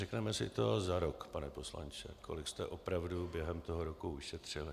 Řekneme si to za rok, pane poslanče, kolik jste opravdu během toho roku ušetřili.